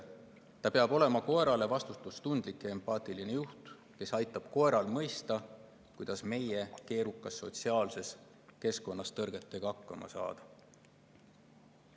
Inimene peab olema koerale vastutustundlik ja empaatiline juht, kes aitab koeral mõista, kuidas meie keerukas sotsiaalses keskkonnas tõrgetega hakkama saada.